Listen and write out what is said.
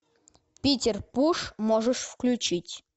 питер пуш можешь включить